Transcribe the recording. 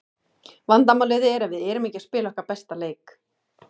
Vandamálið er að við erum ekki að spila okkar besta leik.